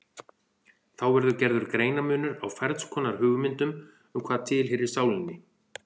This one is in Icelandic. Þá verður gerður greinarmunur á ferns konar hugmyndum um hvað tilheyrir sálinni.